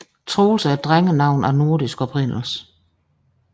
Troels er et drengenavn af nordisk oprindelse